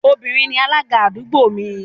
Obìnrin ni alága àdúgbò mi